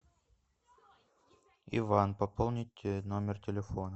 иван пополнить номер телефона